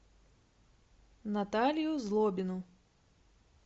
наталью злобину